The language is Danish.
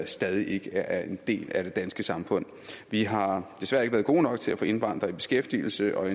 stadig ikke er en del af det danske samfund vi har desværre ikke været gode nok til at få indvandrere i beskæftigelse og